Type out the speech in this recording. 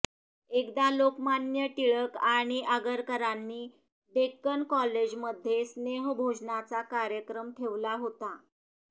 एकदा लोकमान्य टिळक आणि आगरकरांनी डेक्कन कॉलेज मध्ये स्नेहभोजनाचा कार्यक्रम ठेवला होता